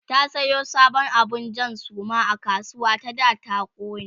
ta Sayo sabon abun Jan Suma a kasuwa ta da ta kone